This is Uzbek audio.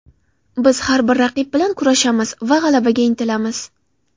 Biz har bir raqib bilan kurashamiz va g‘alabaga intilamiz.